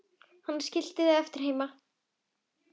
Hana skildum við eftir heima.